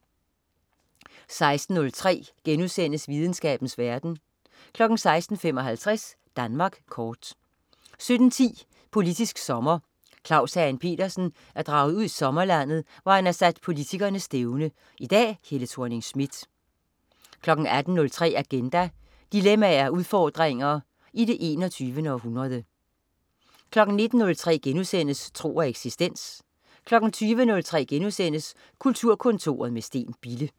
16.03 Videnskabens verden* 16.55 Danmark kort 17.10 Politisk sommer. Claus Hagen Petersen er draget ud i sommerlandet, hvor han har sat politikerne stævne. I dag: Helle Thorning-Schmidt 18.03 Agenda. Dilemmaer og udfordringer i det 21. århundrede 19.03 Tro og eksistens* 20.03 Kulturkontoret med Steen Bille*